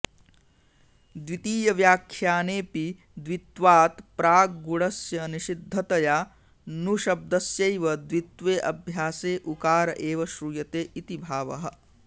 द्वितीव्याख्यानेऽपि द्वित्वात् प्राग्गुणस्य निषिद्धतया नुशब्दस्यैव द्वित्वे अभ्यासे उकार एव श्रूयते इति भावः